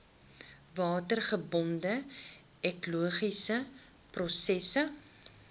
watergebonde ekologiese prosesse